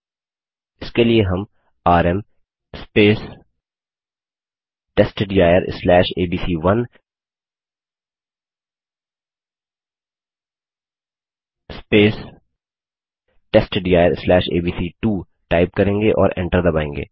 इसके लिए हम आरएम testdirएबीसी1 testdirएबीसी2 टाइप करेंगे और एन्टर दबायेंगे